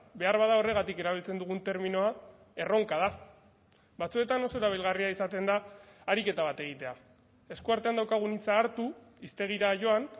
beharbada horregatik erabiltzen dugun terminoa erronka da batzuetan oso erabilgarria izaten da ariketa bat egitea eskuartean daukagun hitza hartu hiztegira joan